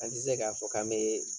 An ti se k'a fɔ k'an bee